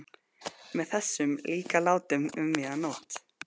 Með þessum líka látum um miðja nótt!